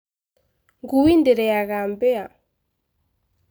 Ngui ndĩrĩaga mbĩa